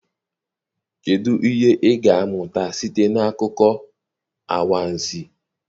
Kedụ ihe ị ga-amụta site n'akụkọ anwansi?